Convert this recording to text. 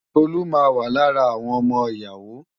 Tolú máa wà lára àwọn ọmọ ìyàwó.